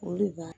O de b'a